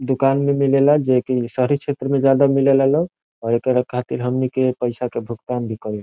दुकान में मिलेला जे की शहरी क्षेत्र में ज्यादा मिले ला लोग अ एकरा खातिर हमनी के पैसा के भुगतान भी करी ।